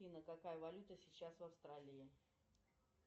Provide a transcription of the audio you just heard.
афина какая валюта сейчас в австралии